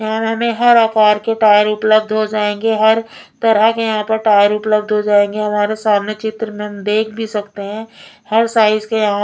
यहाँ हमे हर आकार के टायर उपलब्ध हो जाएंगे हर तरह के यहाँ पर टायर उपलब्ध हो जाएंगे हमारे सामने चित्र में हम देख भी सकते हैं हर साइज़ के यहाँ --